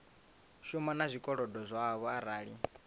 shuma na zwikolodo zwavho arali